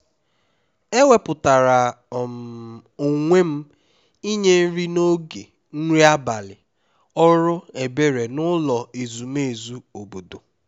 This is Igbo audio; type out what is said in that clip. e wepụtara um onwe m inye nri n'oge nri abalị ọrụ ebere n'ụlọ ezumezu obodo